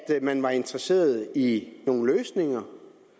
til at man var interesseret i nogle løsninger